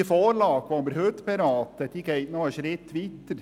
Die Vorlage, welche wir heute beraten, geht einen Schritt weiter.